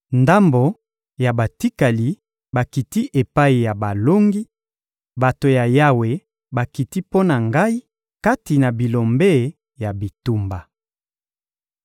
Ndambo ya batikali bakiti epai ya balongi, bato ya Yawe bakiti mpo na ngai kati na bilombe ya bitumba.